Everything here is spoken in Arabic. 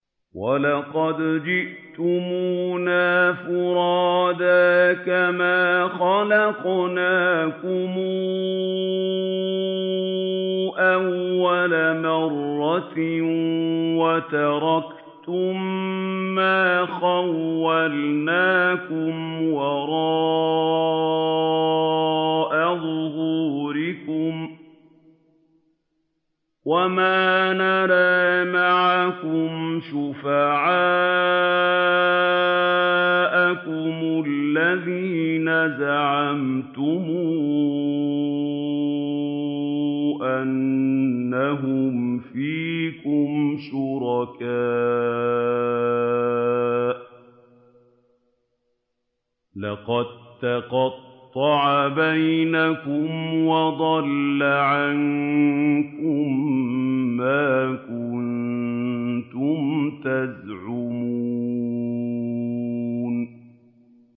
وَلَقَدْ جِئْتُمُونَا فُرَادَىٰ كَمَا خَلَقْنَاكُمْ أَوَّلَ مَرَّةٍ وَتَرَكْتُم مَّا خَوَّلْنَاكُمْ وَرَاءَ ظُهُورِكُمْ ۖ وَمَا نَرَىٰ مَعَكُمْ شُفَعَاءَكُمُ الَّذِينَ زَعَمْتُمْ أَنَّهُمْ فِيكُمْ شُرَكَاءُ ۚ لَقَد تَّقَطَّعَ بَيْنَكُمْ وَضَلَّ عَنكُم مَّا كُنتُمْ تَزْعُمُونَ